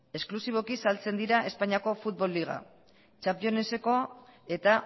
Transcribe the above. esklusiboki saltzen dira espainiako futbol liga championseko eta